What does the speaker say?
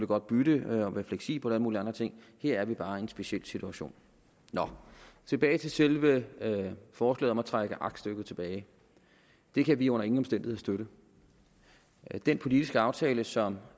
godt bytte og være fleksibel mulige andre ting her er vi bare i en speciel situation nå tilbage til selve forslaget om at trække aktstykket tilbage det kan vi under ingen omstændigheder støtte den politiske aftale som